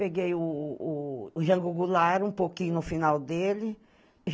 Peguei o o Jango Goulart, um pouquinho no final dele.